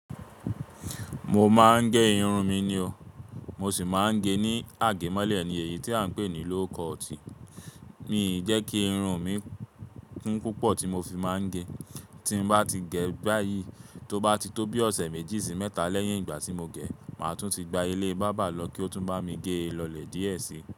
Mo máa ń gé irun mi ni o. Mo sì máa ń gé ní àgẹ̀mọ́lẹ̀ ni èyí tí à ń pè ní low cut. Mi ì jẹ́ kí irun mi kún púpọ̀ tí mo fi máa ń ge. Tí mo bá ti gẹ̀ báyìí, tó bá ti tó bí ọ̀sẹ̀ méjì sí mẹ́ta lẹ́yìn ìgbà tí mo gẹ̀, màá tún ti gba ilé bábà lọ kí ó tún bá mi gé é lọ̀lẹ̀ díẹ̀ sí.